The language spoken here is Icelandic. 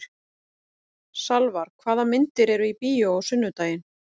Salvar, hvaða myndir eru í bíó á sunnudaginn?